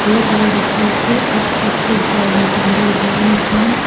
और लड़कियों के अच्छे अच्छे गाउन टंगे हुए हैं।